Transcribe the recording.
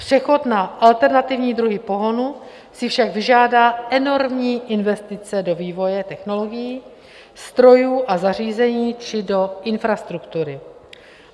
Přechod na alternativní druhy pohonu si však vyžádá enormní investice do vývoje technologií, strojů a zařízení či do infrastruktury.